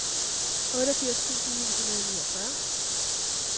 otteogfirs tusind ni hundrede og niogfyrre